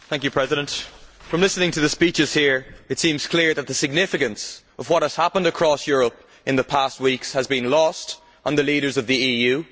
Mr President, listening to the speeches here it seems clear that the significance of what has happened across Europe in the past weeks has been lost on the leaders of the EU